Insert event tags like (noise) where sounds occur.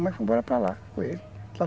(unintelligible) embora para lá com ele